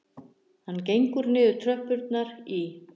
Hann gengur niður tröppurnar í